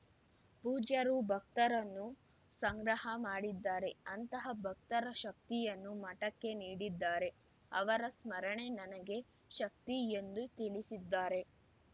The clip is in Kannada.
ಪೂಜ್ಯರು ಭಕ್ತರನ್ನು ಸಂಗ್ರಹ ಮಾಡಿದ್ದಾರೆ ಅಂತಹ ಭಕ್ತರ ಶಕ್ತಿಯನ್ನು ಮಠಕ್ಕೆ ನೀಡಿದ್ದಾರೆ ಅವರ ಸ್ಮರಣೆ ನನಗೆ ಶಕ್ತಿ ಎಂದು ತಿಳಿಸಿದ್ದಾರೆ